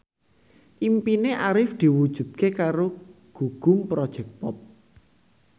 impine Arif diwujudke karo Gugum Project Pop